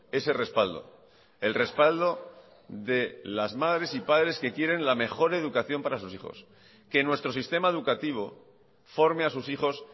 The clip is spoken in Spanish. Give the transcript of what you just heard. ese respaldo el respaldo de las madres y padres que quieren la mejor educación para sus hijos que nuestro sistema educativo forme a sus hijos